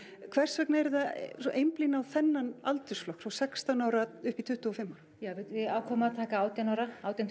hvers vegna eruð þið að einblína á þennan aldursflokk frá sextán ára upp í tuttugu og fimm ára ja við ákváðum að taka átján ára átján